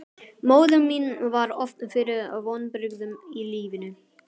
Móðir mín varð oft fyrir vonbrigðum í lífinu.